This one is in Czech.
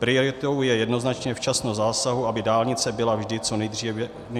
Prioritou je jednoznačně včasnost zásahu, aby dálnice byla vždy co nejdříve průjezdná.